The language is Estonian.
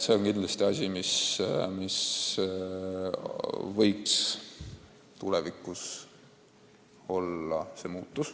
See on kindlasti muutus, mis võiks tulevikus olla.